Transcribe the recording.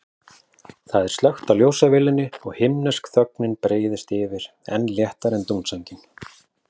Það er slökkt á ljósavélinni og himnesk þögnin breiðist yfir, enn léttari en dúnsængin.